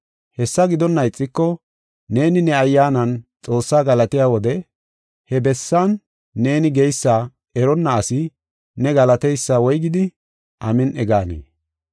Hessa gidonna ixiko neeni ne ayyaanan Xoossaa galatiya wode he bessan neeni geysa eronna asi ne galateysa woygidi, “Amin7i” gaanee?